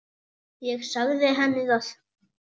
Ég sagði henni það.